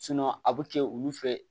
a bɛ kɛ olu fɛ